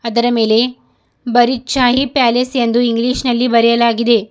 ಇದರ ಮೇಲೆ ಬರಿ ಶಾಹಿ ಪ್ಯಾಲೇಸ್ ಎಂದು ಇಂಗ್ಲಿಷ್ ನಲ್ಲಿ ಬರೆಯಲಾಗಿದೆ.